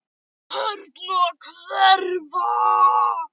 Tærnar hverfa.